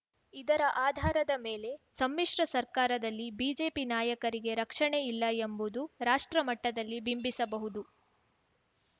ಇದರ ಆಧಾರದ ಮೇಲೆ ಸಮ್ಮಿಶ್ರ ಸರ್ಕಾರದಲ್ಲಿ ಬಿಜೆಪಿ ನಾಯಕರಿಗೆ ರಕ್ಷಣೆಯಿಲ್ಲ ಎಂಬುದು ರಾಷ್ಟ್ರಮಟ್ಟದಲ್ಲಿ ಬಿಂಬಿಸಬಹುದು